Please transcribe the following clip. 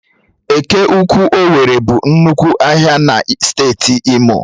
Eke ụkwụ owerri bụ nnukwu ahịa na steeti imo